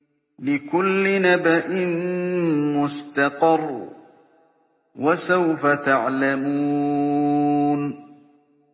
لِّكُلِّ نَبَإٍ مُّسْتَقَرٌّ ۚ وَسَوْفَ تَعْلَمُونَ